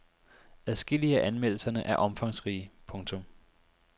Adskillige af anmeldelserne er omfangsrige. punktum